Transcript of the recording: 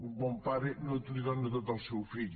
un bon pare no li dóna tot al seu fill